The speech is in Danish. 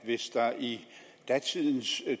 at hvis der i datidens